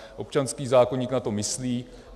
Občanský zákoník na to myslí.